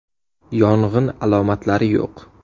Yong‘in alomatlari yo‘q.